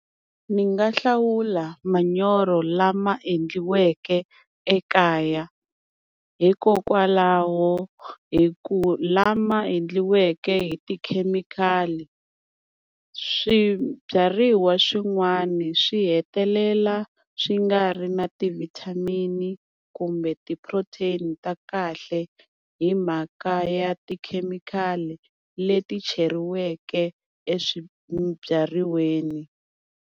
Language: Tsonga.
Ni nga hlawula manyoro lama endliweke ekaya, hikokwalaho hi ku lama endliweke hi tikhemikhali swibyariwa swin'wani swi hetelela swi nga ri na ti-vitamin-i kumbe ti-protein-i ta kahle hi mhaka ya tikhemikhali leti cheriweke eswibyariweni.